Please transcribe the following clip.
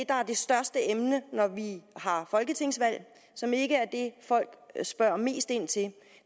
der er det største emne når vi har folketingsvalg og som ikke er det folk spørger mest ind til er